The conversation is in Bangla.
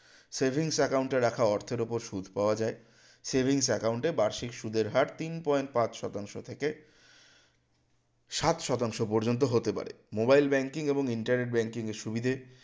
savings account এ রাখা অর্থের উপর সুদ পাওয়া যায় savings account এ বার্ষিক সুদের হার তিন point পাঁচ শতাংশ থেকে সাত শতাংশ পর্যন্ত হতে পারে mobile banking এবং internet banking এর সুবিধে